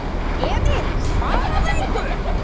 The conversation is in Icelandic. Emil svaraði engu.